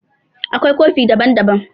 Akwai kofi daban-daban.